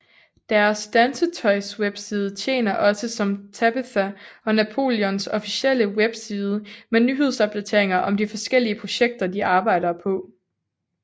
Deres dansetøjswebside tjener også som Tabitha og Napoleons officielle webside med nyhedsopdateringer om de forskellige projekter de arbejder på